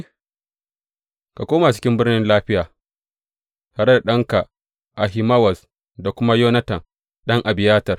Ka koma cikin birnin lafiya, tare da ɗanka Ahimawaz, da kuma Yonatan ɗan Abiyatar.